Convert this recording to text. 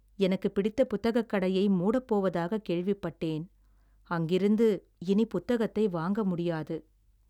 எனக்குப் பிடித்த புத்தகக் கடையை மூடப் போவதாகக் கேள்விப்பட்டேன். அங்கிருந்து இனி புத்தகத்தை வாங்க முடியாது.